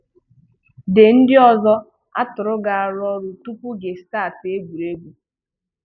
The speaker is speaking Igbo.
The ndị ọzọ àtùrụ̀ ga-arụ ọrụ tupu gị strt egwuregwu.